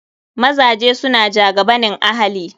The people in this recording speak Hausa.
Mazaje suna jagabanin ahali.